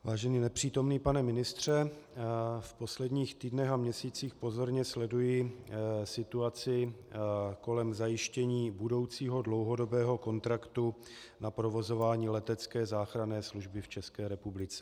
Vážený nepřítomný pane ministře, v posledních týdnech a měsících pozorně sleduji situaci kolem zajištění budoucího dlouhodobého kontraktu na provozování letecké záchranné služby v České republice.